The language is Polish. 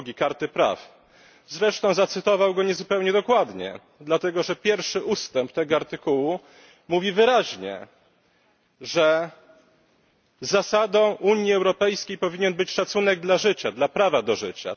2 Karty praw podstawowych, zresztą zacytował go niezupełnie dokładnie, dlatego że pierwszy ustęp tego artykułu mówi wyraźnie, że zasadą Unii Europejskiej powinien być szacunek dla życia, dla prawa do życia.